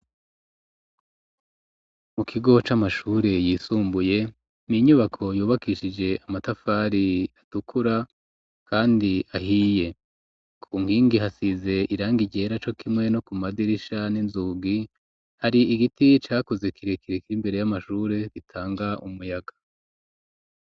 Mu kigo c'amashure yisumbuye n'inyubako yubakishije amatafari atukura kandi ahiye ku nkingi hasize irangi ryera co kimwe no ku madirisha n'inzugi hari igiti cakuze kiri imbere y'amashure gitanga umuyaga